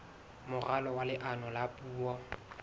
moralo wa leano la puo